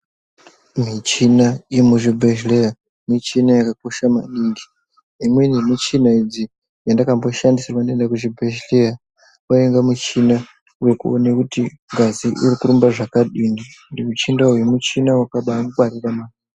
Michina yemuzvibhehleya michina yakakosha maningi. Imwe yemichina idzi yandakamboshandisirwa ndaenda kuzvibhedhleya wainga muchina wekuona kuti ngazi irikurumba zvakadini. Muchinda uyu muchina wakabangwarira.